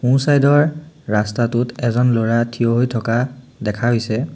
সোঁ চাইড ৰ ৰাস্তাটোত এজন ল'ৰা থিয় হৈ থকা দেখা গৈছে।